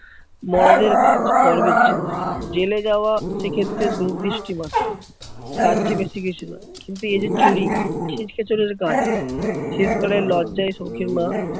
মরদের কাজ, গর্বের জিনিস। জেলে যাওয়া সেক্ষেত্রে দূরদৃষ্টি মাত্র। তারচেয়ে বেশি কিছু নয়। কিন্তু এ যে চুরি ছিচকে চোরের কাজ। শেষকালে লজ্জায় সৌখীর মা